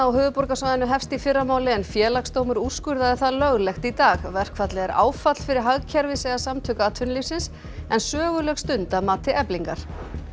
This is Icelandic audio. á höfuðborgarsvæðinu hefst í fyrramálið en Félagsdómur úrskurðaði það löglegt í dag verkfallið er áfall fyrir hagkerfið segja Samtök atvinnulífsins en söguleg stund að mati Eflingar